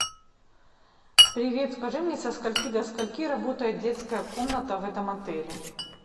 привет скажи мне со скольки до скольки работает детская комната в этом отеле